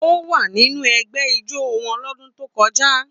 Ó wà nínú ẹgbẹ́ ijó wọn lọ́dún tó kọjá.